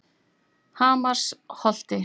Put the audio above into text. Hamarsholti